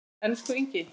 Elsku Ingi.